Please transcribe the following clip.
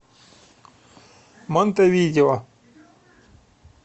монтевидео